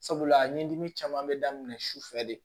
Sabula a ɲinini caman bɛ daminɛ su fɛ de